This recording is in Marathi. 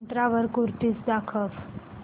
मिंत्रा वर कुर्तीझ दाखव